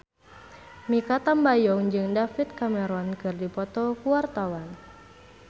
Mikha Tambayong jeung David Cameron keur dipoto ku wartawan